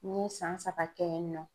N ye san saba kɛ yen nɔ.